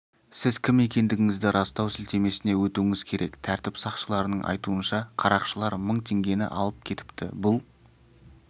сіз кім екендігіңізді растау сілтемесіне өтуіңіз керек тәртіп сақшыларының айтуынша қарақшылар мың теңгені алып кетіпті бұл